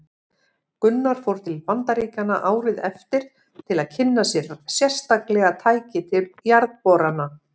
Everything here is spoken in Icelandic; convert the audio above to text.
Gunnar fór til Bandaríkjanna árið eftir til að kynna sér sérstaklega tæki til jarðborana.